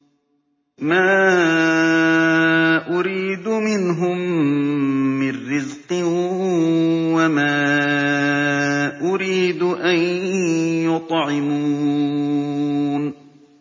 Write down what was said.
مَا أُرِيدُ مِنْهُم مِّن رِّزْقٍ وَمَا أُرِيدُ أَن يُطْعِمُونِ